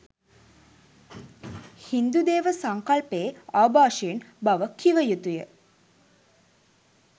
හින්දු දේව සංකල්පයේ ආභාෂයෙන් බව කිව යුතු ය.